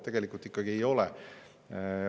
Tegelikult ikkagi ei ole.